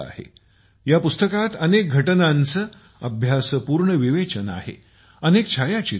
या पुस्तकात अनेक घटनांचे अभ्यासपूर्ण विवेचन आहे अनेक छायाचित्रे आहेत